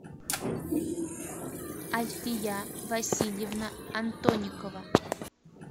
альфия васильевна антоникова